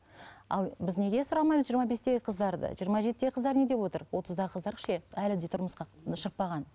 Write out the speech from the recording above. ал біз неге сұрамаймыз жиырма бестегі қыздарды жиырма жетідегі қыздар не деп отыр отыздағы қыздар ше әлі де тұрмысқа шықпаған